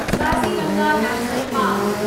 Kaziranga national park